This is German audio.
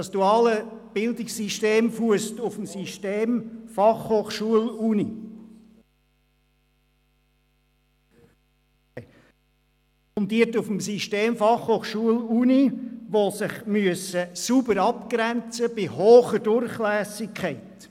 Das duale Bildungssystem fusst auf den beiden Institutionen FH und Universität, die sich sauber voneinander abgrenzen müssen bei gleichzeitig hoher Durchlässigkeit.